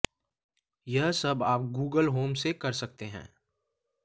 यह सब आप गूगल होम से कर सकते हैं